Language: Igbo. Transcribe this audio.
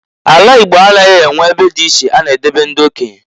A la Igbo anaghị enwe ebe di iche a na edobe ndị okenye.